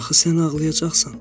Axı sən ağlayacaqsan.